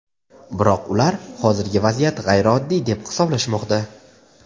Biroq ular "hozirgi vaziyat g‘ayrioddiy", deb hisoblashmoqda.